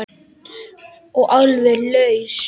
Og alveg laus.